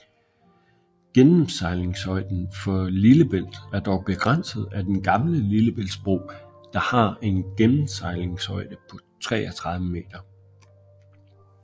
Gennemsejlingshøjden for Lillebælt er dog begrænset af Den gamle lillebæltsbro der har en gennemsejlingshøjde på 33 meter